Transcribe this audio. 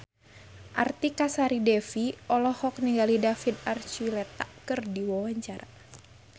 Artika Sari Devi olohok ningali David Archuletta keur diwawancara